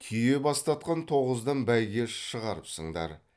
түйе бастатқан тоғыздан бәйге шығарыпсыңдар